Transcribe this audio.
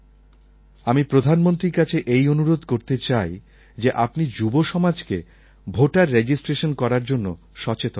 আমি প্রধানমন্ত্রীর কাছে এই অনুরোধ করতে চাই যে আপনি যুবসমাজকে ভোটার রেজিস্ট্রেশন করার জন্য সচেতন করুন